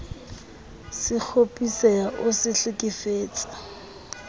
se kgopisehe o se hlekefetse